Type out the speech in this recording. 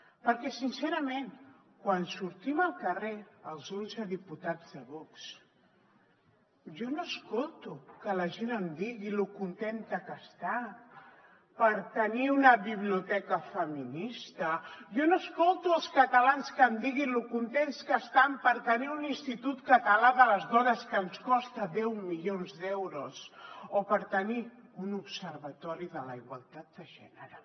perquè sincerament quan sortim al carrer els onze diputats de vox jo no escolto que la gent em digui lo contenta que està per tenir una biblioteca feminista jo no escolto els catalans que em diguin lo contents que estan per tenir un institut català de les dones que ens costa deu milions d’euros o per tenir un observatori de la igualtat de gènere